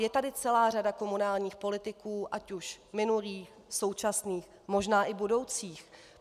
Je tu celá řada komunálních politiků, ať už minulých, současných, možná i budoucích.